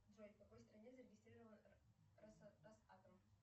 джой в какой стране зарегистрирован росатом